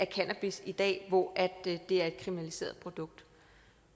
cannabis i dag hvor det er et kriminaliseret produkt